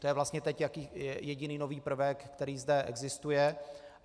To je vlastně teď jediný nový prvek, který zde existuje.